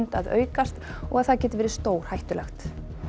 að aukast og það geti verið stórhættulegt